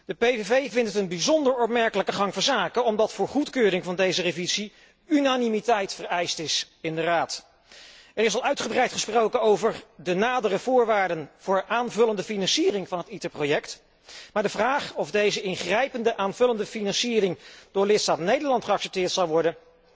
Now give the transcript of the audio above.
De PVV vindt het een bijzonder opmerkelijke gang van zaken, omdat voor goedkeuring van deze revisie unanimiteit in de Raad is vereist. Er is al uitgebreid gesproken over de nadere voorwaarden voor aanvullende financiering van het ITER project, maar de vraag of deze ingrijpende aanvullende financiering door lidstaat Nederland geaccepteerd zal worden,